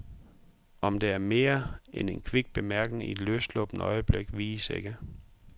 Om det er mere end en kvik bemærkning i et løssluppent øjeblik, vides ikke.